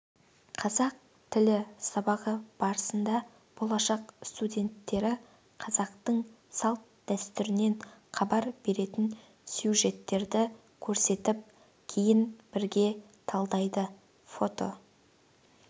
қазақ тілі сабағы барысында болашақ студенттері қазақтың салт-дәстүрінен хабар беретін сюжеттерді көрсетіп кейін бірге талдайды фото